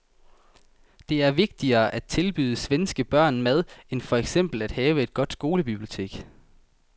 Det er vigtigere at tilbyde svenske børn mad end for eksempel at have et godt skolebibliotek.